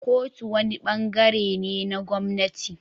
Kotu wani ɓangaren ne na gwamnati.